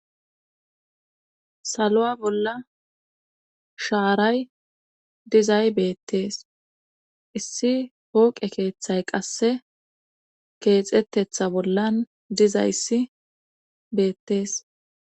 Saluwa bolla shaaray dizay beetees. Issi pooqe keethay qasse keexetethi bolla dizay dizayssi beetees.